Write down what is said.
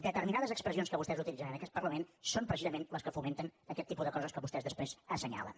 determinades expressions que vostès utilitzen en aquest parlament són precisament les que fomenten aquest tipus de coses que vostès després assenyalen